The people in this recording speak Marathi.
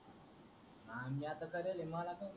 ह म्या त केलेल मला त